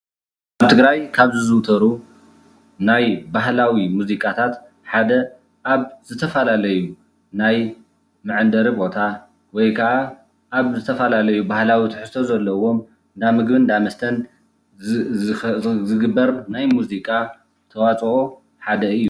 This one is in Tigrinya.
ኣብ ትግራይ ካብ ዝዝውተሩ ናይ ባህላዊ ሙዚቃታት ሓደ ኣብ ዝተፈላለዩ ናይ መዐንደሪ ቦታ ወይከዓ ኣብ ዝተፈላለዩ ባህላዊ ትሕዝቶ ዘለዎም እንዳ ምግብን እንዳ መስተን ዝግበር ናይ ሙዚቃ ተዋፅኦ ሓደ እዩ፡፡